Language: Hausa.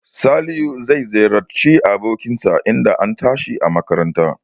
Salihu zai ziyarci abokin sa idan an tashi a makaranta